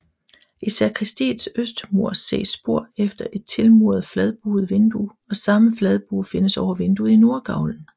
I sakristiets østmur ses spor efter et tilmuret fladbuet vindue og samme fladbue findes over vinduet i nordgavlen